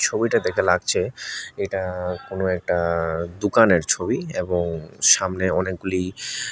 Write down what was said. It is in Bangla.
এই বইটা দেখে লাগছে এটা কোনো একটা দোকানের ছবি এবং সামনে অনেকগুলি--